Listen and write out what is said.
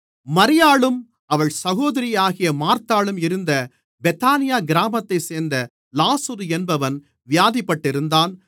மரியாளும் அவள் சகோதரியாகிய மார்த்தாளும் இருந்த பெத்தானியா கிராமத்தைச் சேர்ந்த லாசரு என்பவன் வியாதிப்பட்டிருந்தான்